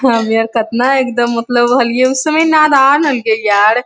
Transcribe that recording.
अरे यार कतना एकदम मतलब हलिये उस समय नादान हलके यार --